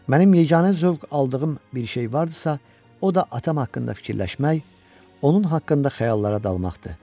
Mənim yeganə zövq aldığım bir şey vardısa, o da atam haqqında fikirləşmək, onun haqqında xəyallara dalmaqdır.